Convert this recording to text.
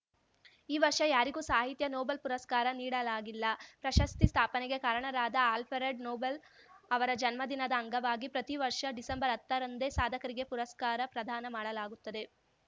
ಈ ವರ್ಷ ಯಾರಿಗೂ ಸಾಹಿತ್ಯ ನೊಬೆಲ್‌ ಪುರಸ್ಕಾರ ನೀಡಲಾಗಿಲ್ಲ ಪ್ರಶಸ್ತಿ ಸ್ಥಾಪನೆಗೆ ಕಾರಣರಾದ ಆಲ್ಫ ರೆಡ್‌ ನೊಬೆಲ್‌ ಅವರ ಜನ್ಮದಿನದ ಅಂಗವಾಗಿ ಪ್ರತಿವರ್ಷ ಡಿಸೆಂಬರ್ಹತ್ತರಂದೇ ಸಾಧಕರಿಗೆ ಪುರಸ್ಕಾರ ಪ್ರದಾನ ಮಾಡಲಾಗುತ್ತದೆ